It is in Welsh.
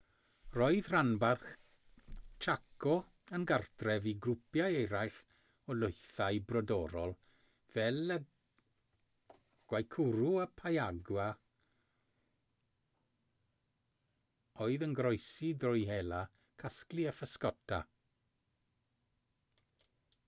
roedd rhanbarth chaco yn gartref i grwpiau eraill o lwythau brodorol fel y guaycurú a payaguá oedd yn goroesi drwy hela casglu a physgota